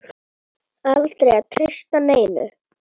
Aldrei að treysta neinum.